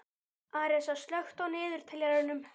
Arisa, slökktu á niðurteljaranum.